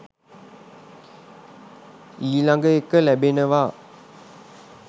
ඊළඟ එක ලැබෙනවා